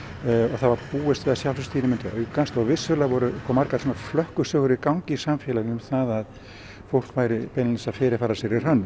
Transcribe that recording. það var búist við því að sjálfvígstíðnin myndi aukast og vissulega voru margar flökkusögur í gangi í samfélaginu um að fólk væri beinlínis að fyrirfara sér í hrönnum